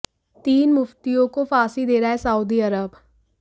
तीन मुफ़्तियों को फांसी दे रहा है सऊदी अरब